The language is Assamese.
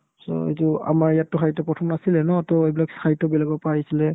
so, এইটো আমাৰ ইয়াতো সাহিত্য প্ৰথম নাছিলে ন to এইবিলাক সাহিত্য বেলেগৰ পৰা আহিছিলে